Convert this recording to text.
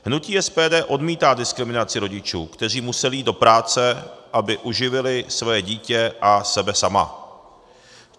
Hnutí SPD odmítá diskriminaci rodičů, kteří museli jít do práce, aby uživili svoje dítě a sebe sama.